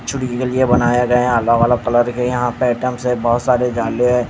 चूड़ी की गलियां बनाया गया अलग अलग कलर की यहां पे आइटम्स है बहोत सारे जाले है।